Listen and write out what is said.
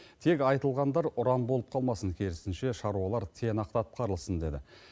тек айтылғандар ұран болып қалмасын керісінше шаруалар тиянақты атқарылсын деді